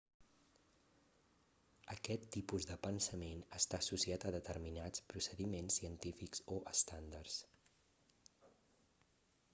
aquest tipus de pensament està associat a determinats procediments científics o estàndards